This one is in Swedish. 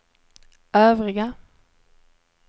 övriga